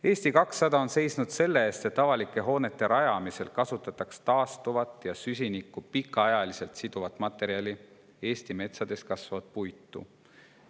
Eesti 200 on seisnud selle eest, et avalike hoonete rajamisel kasutataks taastuvat ja süsinikku pikaajaliselt siduvat materjali: Eesti metsades kasvavat puitu.